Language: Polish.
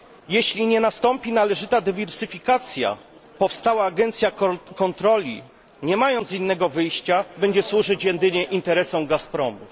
Jeśli nie nastąpi należyta dywersyfikacja, powstała agencja kontroli, nie mając innego wyjścia, będzie służyć jedynie interesom Gazpromu.